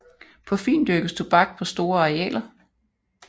På Fyn dyrkes tobak på store arealer